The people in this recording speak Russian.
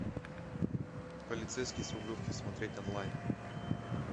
полицейский с рублевки смотреть онлайн